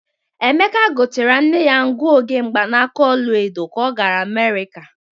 Emeka gotere nne ya nguoge mgbanaka ola edo ka o gara Amerika.